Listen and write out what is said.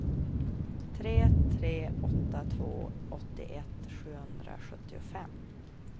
tre tre åtta två åttioett sjuhundrasjuttiofem